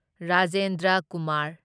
Rajendra Kumar